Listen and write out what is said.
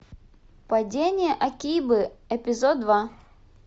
падение акибы эпизод два